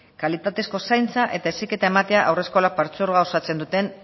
kalitatezko zaintza eta heziketa ematea haurreskolak partzuergoa osatzen duten